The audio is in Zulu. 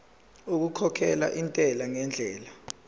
okukhokhela intela ngendlela